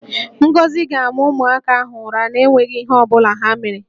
Ngozi ga-ama ụmụaka ahụ ụra na-enweghi ihe ọ bụla ha mere